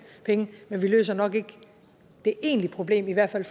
penge men vi løser nok ikke det egentlige problem i hvert fald